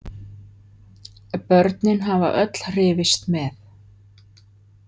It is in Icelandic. Börnin hafa öll hrifist með.